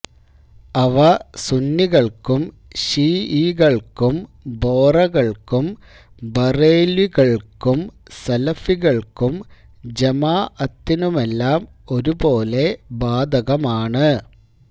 അവ സുന്നികള്ക്കും ശീഈകള്ക്കും ബോറകള്ക്കും ബറേല്വികള്ക്കും സലഫികള്ക്കും ജമാഅത്തിനുമെല്ലാം ഒരുപോലെ ബാധകമാണ്